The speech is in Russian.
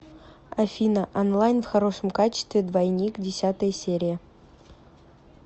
афина онлайн в хорошем качестве двойник десятая серия